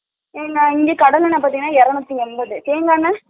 இங்க கடமேல பாத்திங்கனா இரனுத்தி எம்பது சரிதான அண்ணே